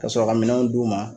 Ka sɔrɔ ka minɛnw d'u ma.